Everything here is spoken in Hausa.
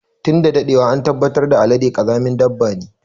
Tun da daɗewa an tabbatar da Alade ƙazamin dabba ne.